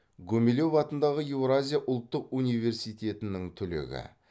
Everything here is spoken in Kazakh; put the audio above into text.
гумилев атындағы еуразия ұлттық университетінің түлегі